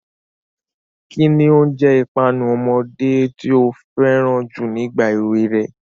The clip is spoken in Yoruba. Kín ni oúnjẹ ìpanu ọmọdé tí o fẹ́ràn jù nígbà èwe rẹ?